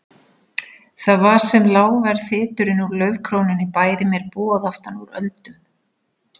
Það var sem lágvær þyturinn úr laufkrónunni bæri mér boð aftanúr öldum.